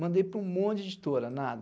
Mandei para um monte de editora, nada.